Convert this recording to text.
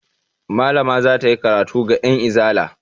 Malama za ta yi karatu ga 'yanizala.